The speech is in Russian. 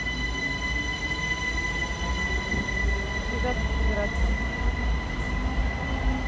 связаться с оператором